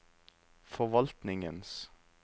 forvaltningens